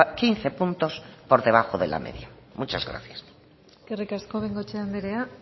quince puntos por debajo de la media muchas gracias eskerrik asko bengoechea andrea